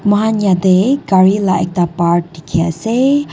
moikan yete cari la ekta part diki ase.